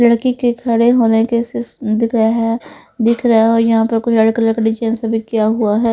लड़की के खड़े होने के सिस दिख रहे है दिख रहा है और यहाँ पर कु लड़के लकड़ी सिस किया हुआ है।